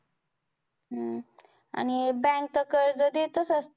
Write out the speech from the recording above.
हम्म आणि bank कर्ज देतच असते